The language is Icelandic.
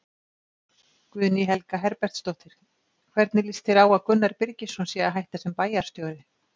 Guðný Helga Herbertsdóttir: Hvernig lýst þér á að Gunnar Birgisson sé að hætta sem bæjarstjóri?